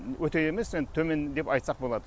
өте емес енді төмен деп айтсақ болады